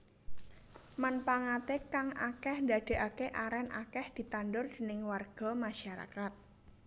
Manpangaté kang akèh ndadékaké arèn akèh ditandur déning warga masyarakat